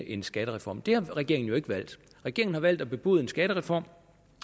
en skattereform det har regeringen jo ikke valgt regeringen har valgt at bebude en skattereform